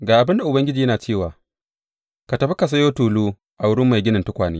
Ga abin da Ubangiji yana cewa, Tafi ka sayo tulu a wurin mai ginin tukwane.